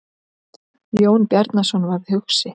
Jón Bjarnason varð hugsi.